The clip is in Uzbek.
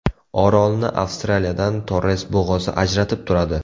Orolni Avstraliyadan Torres bo‘g‘ozi ajratib turadi.